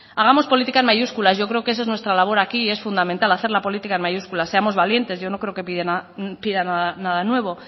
hagamos política en mayúsculas yo creo que eso es nuestra labor aquí es fundamental hacer la política en mayúsculas seamos valientes yo no creo que pida nada nuevo